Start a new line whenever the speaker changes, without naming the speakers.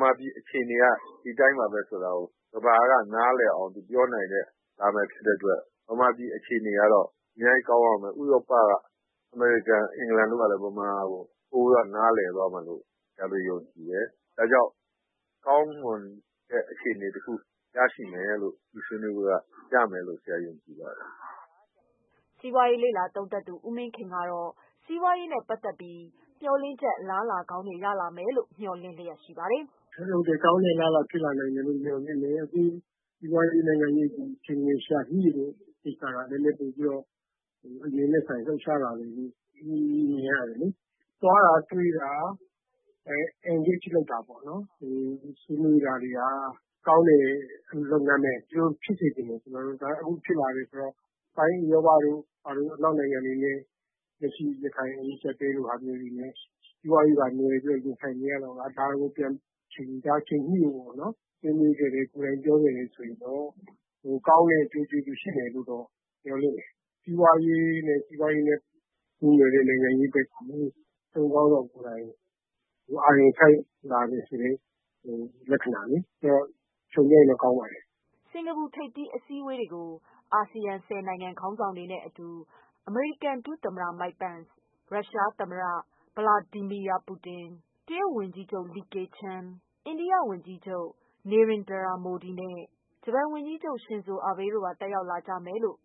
မာပြည်အခြေအနေကတော့ ဒီလိုဆိုတာကို ပြောပြနိုင်လိမ့်မယ်။ မြန်မာပြည်အခြေအနေက တော့ ဒီလိုဆိုတာကို ဥရောပ၊ အမေရိကန်နဲ့ အင်္ဂလန်တို့ နားလည်သွားလိမ့်မယ် ယုံကြည်တယ်။ ဒါ ကြောင့်ကောင်းမွန်တဲ့ ရလဒ်တခုရလာမယ်လို့ ယုံကြည်ပါတယ်"
စီးပွားရေး လေ့လာသုံးသပ်သူ ဦးမင်းခင်ကတော့ စီးပွားရေးနဲ့ပတ်သက်ပြီး အလား အလာ ကောင်းရလာမယ်လို့ မေ ျှာ်လင့်ချက်ရှိပါတယ
်။ "ကောင်းတဲ့ အလားအလာ ဖြစ်လာနိုင်တယ်လို့မေ ျှာ်လင့်တယ်။ စီးပွားရေးနိုင်ငံရေးပိုင်းကို ချိန်ခွင် လ ျှာညှိတာက အရင်ကထက်စာရင် လှုပ်ရှားလာတယ်လို့မြင်လာရတယ်။ သွားတာ တွေ့တာ Engageလုပ်တာ ဆွေးနွေးတာတွေက ကောင်းတဲ့ လုပ်ငန်းပါဘဲ။ ကျနော်တို့လည်း ဒီလိုဖြစ်စေချင်တယ်။ အနောက်နိုင်ငံတွေ က လက်ရှိရခိုင် အကြပ်အတည်းကြောင့် စီးပွားရေးပါနွယ်ပြီး ရင်ဆိုင်နေရချိန်မှာ ဒါက ချိန်ညှိဖို့ပေါ့။ ဆွေးနွေးခဲ့ ကိုယ်တိုင်ပြောခဲ့ တော့ကောင်းတဲ့ အကျိုးကျေးဇူးရလာမယ်မေ ျှာ်လင့် တယ်။ စီးပွားရေးနဲ့ပတ်သတ်တဲ့ နိုင်ငံရေးကို နိုင်ငံခေါင်းဆောင်ပိုင်းကအာရုံစိုက်လာတာ ကိုက ကောင်းတဲ့ လက္ခဏာပေါ့"
စင်္ကာပူထိပ်သီးအစည်းအဝေးတွေကို အာဆီယံ ဆယ်နိုင်ငံခေါင်းဆောင်တွေနဲ့အတူ အမေရိကန် ဒုသမ္မတ Mike Pence ၊ ရုရှားသမ္မတVladimir Putin ၊ တရုတ်ဝန်ကြီးချုပ် Li Keqiang ၊ အိန္ဒိယဝန်ကြီးချုပ် Narendra Modi နဲ့ ဂျပန်ဝန်ကြီးချုပ် Shinzo Abe တို့ပါ တက်ရောက် လာကြမယ်လို့